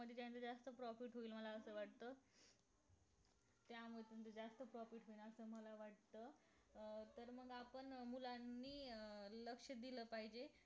म्हणजे ज्यांचं जास्त profit होईल मला असं वाटत त्यामुळे त्यांचं जास्त profit होणार असं मला वाटत अं तर मग आपण मुलांनी लक्ष दिल पाहिजे